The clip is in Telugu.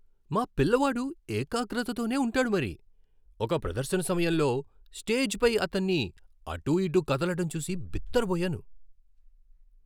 మా పిల్లవాడు ఏకాగ్రతతోనే ఉంటాడు మరి, ఒక ప్రదర్శన సమయంలో స్టేజ్ పై అతన్ని అటుఇటు కదలటం చూసి బిత్తరపోయాను.